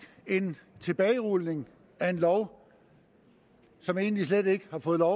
en tilbagerulning af en lov som egentlig slet ikke har fået lov